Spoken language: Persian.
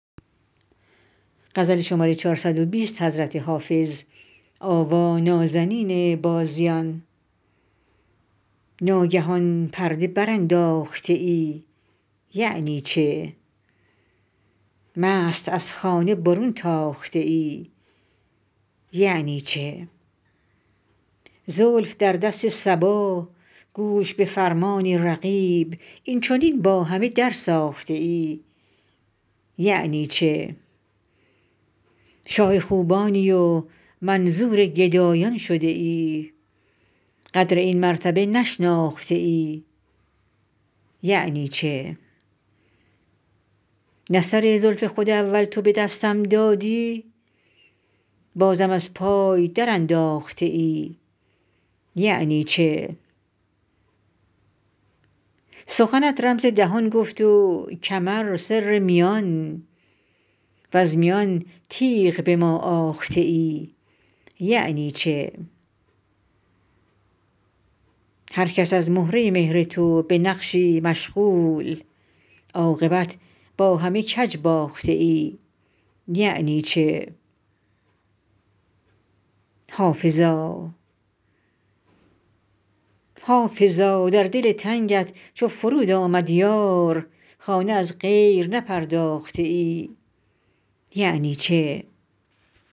ناگهان پرده برانداخته ای یعنی چه مست از خانه برون تاخته ای یعنی چه زلف در دست صبا گوش به فرمان رقیب این چنین با همه درساخته ای یعنی چه شاه خوبانی و منظور گدایان شده ای قدر این مرتبه نشناخته ای یعنی چه نه سر زلف خود اول تو به دستم دادی بازم از پای درانداخته ای یعنی چه سخنت رمز دهان گفت و کمر سر میان وز میان تیغ به ما آخته ای یعنی چه هر کس از مهره مهر تو به نقشی مشغول عاقبت با همه کج باخته ای یعنی چه حافظا در دل تنگت چو فرود آمد یار خانه از غیر نپرداخته ای یعنی چه